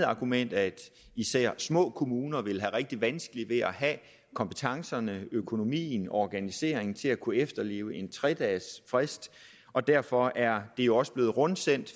argument at især de små kommuner vil have rigtig vanskeligt ved at have kompetencerne økonomien og organiseringen til at kunne efterleve en tre dages frist derfor er der jo også blevet rundsendt